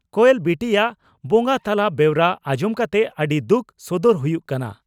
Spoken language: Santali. ᱠᱚᱭᱮᱞ ᱵᱤᱴᱤᱭᱟᱜ ᱵᱚᱸᱜᱟ ᱛᱟᱞᱟ ᱵᱮᱣᱨᱟ ᱟᱸᱡᱚᱢ ᱠᱟᱛᱮ ᱟᱹᱰᱤ ᱫᱩᱠ ᱥᱚᱫᱚᱨ ᱦᱩᱭᱩᱜ ᱠᱟᱱᱟ ᱾